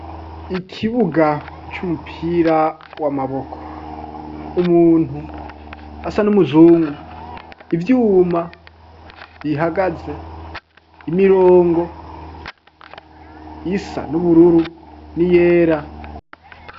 Ikibuga c'umupira w'amaboko. Umuntu asa n'umuzungu, ivyuma bihagaze. Imirongo isa nubururu n'iyera.